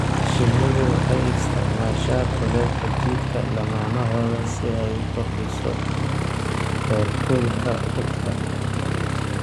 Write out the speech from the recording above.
Shinnidu waxay isticmaashaa kulaylka jidhka lammaanahooda si ay u kordhiso heerkulka rugta.